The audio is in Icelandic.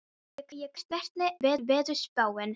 Veiga, hvernig er veðurspáin?